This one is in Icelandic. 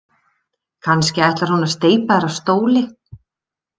Kannski ætlar hún að steypa þér af stóli.